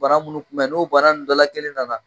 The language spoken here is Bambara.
Bana minnu kunbɛ n'o bana nun dɔ la kelen nana